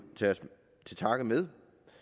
tage til takke med